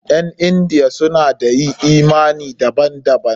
Ƴan Indiya suna da yi imani daban daban.